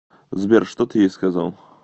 сбер что ты ей сказал